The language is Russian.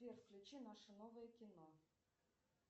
сбер включи наше новое кино